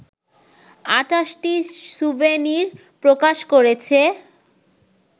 ২৮টি souvenir প্রকাশ করেছে